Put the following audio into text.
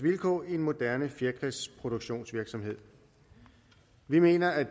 vilkår i en moderne fjerkræproduktionsvirksomhed vi mener at